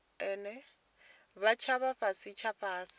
tsha vha fhasi tsha fhasi